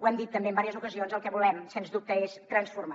ho hem dit també en diverses ocasions el que volem sens dubte és transformar